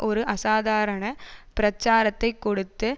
ஒரு அசாதாரண பிரச்சாரத்தை கொடுத்து